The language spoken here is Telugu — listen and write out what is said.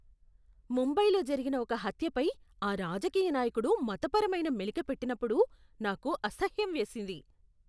ముంబైలో జరిగిన ఒక హత్యపై ఆ రాజకీయ నాయకుడు మతపరమైన మెలిక పెట్టినప్పుడు నాకు అసహ్యం వేసింది.